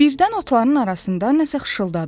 Birdən otların arasında nəsə xışıldadı.